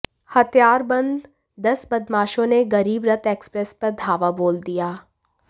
हथियारबंद दस बदमाशों ने गरीब रथ एक्सप्रेस पर धावा बोल दिया